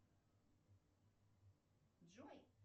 джой